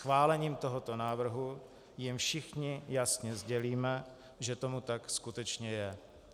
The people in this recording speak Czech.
Schválením tohoto návrhu jim všichni jasně sdělíme, že tomu tak skutečně je.